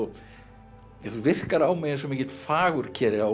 virkar á mig eins og fagurkeri á